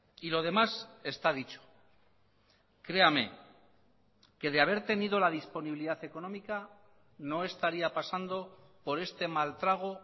y lo demás está dicho créame que de haber tenido la disponibilidad económica no estaría pasando por este mal trago